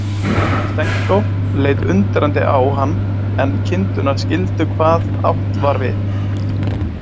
Stenko leit undrandi á hann en kindurnar skildu hvað átt var við.